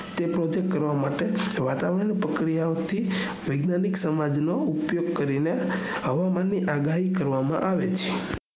તે project કરવા માટે વાતાવરણ ની પ્રક્રિયા ઓ માંથી વૈજ્ઞાનિક સ નોઉપયોગ કરવામાં આવે છે હવામાન ની આઘાઈ કરવામાં આવે છે